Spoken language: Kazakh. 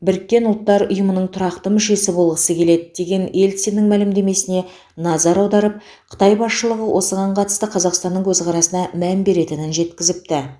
біріккен ұлттар ұйымының тұрақты мүшесі болғысы келеді деген ельциннің мәлімдемесіне назар аударып қытай басшылығы осыған қатысты қазақстанның көзқарасына мән беретінін жеткізіпті